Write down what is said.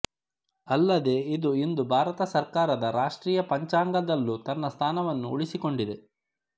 ಅಲ್ಲದೆ ಇದು ಇಂದು ಭಾರತ ಸರ್ಕಾರದ ರಾಷ್ಟ್ರೀಯ ಪಂಚಾಂಗದಲ್ಲೂ ತನ್ನ ಸ್ಥಾನವನ್ನು ಉಳಿಸಿಕೊಡಿದೆ